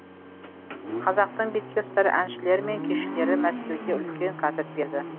қазақтың бетке ұстар әншілері мен күйшілері мәскеуде үлкен концерт берді